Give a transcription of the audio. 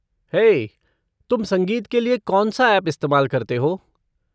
हे, तुम संगीत के लिए कौन सा ऐप इस्तेमाल करते हो?